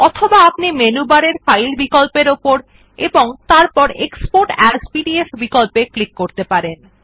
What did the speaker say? অথবা আপনি মেনু বারের ফাইল বিকল্পর উপর এবং তারপর এক্সপোর্ট এএস পিডিএফ বিকল্পত়ে ক্লিক করতে পারেন